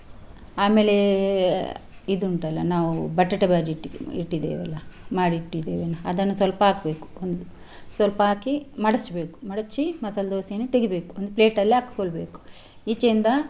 ಆಮೇಲೆ ಇದು ಉಂಟಲ್ಲ ನಾವು ಬಟಾಟೆ बाजी ಇಟ್ಟಿ~ ಇಟ್ಟಿದ್ದೇವಲ್ಲ ಮಾಡಿ ಇಟ್ಟಿದ್ದೇವೆ ಅದನ್ನು ಸ್ವಲ್ಪ ಹಾಕ್ಬೇಕು ಒಂದು ಸ್ವಲ್ಪ ಹಾಕಿ ಮಡಿಚ್ಬೇಕು ಮಡಚಿ ಮಸಾಲಾ ದೋಸಾ ಯನ್ನು ತೆಗಿಬೇಕು ಒಂದು plate ಅಲ್ಲಿ ಹಾಕೊಳ್ಬೇಕು ಈಚೆಯಿಂದ.